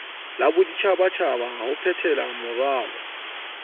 la boditjhabatjhaba ho phethelamoralo wa